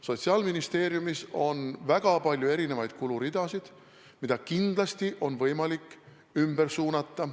Sotsiaalministeeriumis on väga palju erinevaid kuluridasid, mida kindlasti on võimalik ümber suunata.